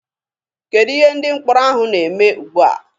Kedụ ihe ndị mkpọrọ ahụ na-eme ugbua?